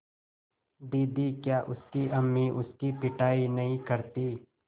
दीदी क्या उसकी अम्मी उसकी पिटाई नहीं करतीं